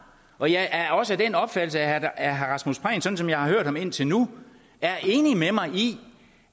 og jeg er også af den opfattelse at herre rasmus prehn sådan som jeg har hørt ham indtil nu er enig med mig i